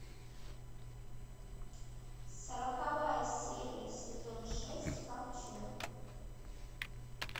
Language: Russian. сороковая серия сезон шесть ковчег